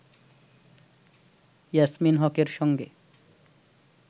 ইয়াসমীন হকের সঙ্গে